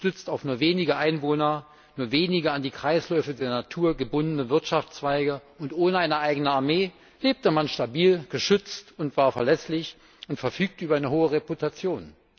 Gestützt auf nur wenige Einwohner, nur wenige an die Kreisläufe der Natur gebundene Wirtschaftszweige und ohne eine eigene Armee lebte man stabil, geschützt und war verlässlich und verfügte über eine hohe Reputation.